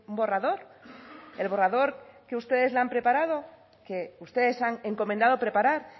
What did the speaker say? borrador el borrador que ustedes le han preparado que ustedes han encomendado preparar